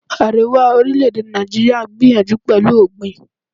Àríwá orílè-èdè Nàìjíríà ń gbìyànjú pẹ̀lú ọ̀gbìn.